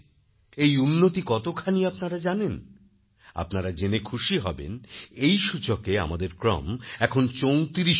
এই উন্নতি কতখানি আপনারা জানেন আপনারা জেনে খুশি হবেন এই সূচকে আমাদের ক্রম এখন ৩৪তম